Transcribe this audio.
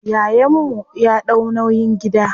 Yayan mu ya ɗau nauyin gida.